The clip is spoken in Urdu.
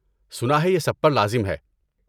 سنا ہے یہ سب پر لازم ہے۔